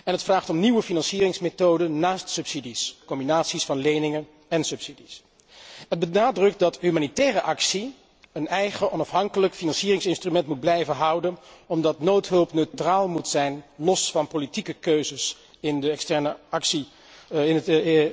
Het vraagt om nieuwe financieringmethoden naast subsidies, combinaties van leningen en subsidies. Het benadrukt dat humanitaire actie een eigen onafhankelijk financieringsinstrument moet blijven houden, omdat noodhulp neutraal moet zijn, los van politieke keuzes in de externe actie, in het